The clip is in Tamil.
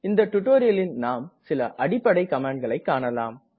இந்த டுடோரியலில் நாம் சில அடிப்படை கமாண்ட்களை காணலாம்